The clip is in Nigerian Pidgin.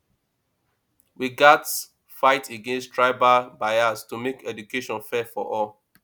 we gats fight against tribal bias to make education fair for all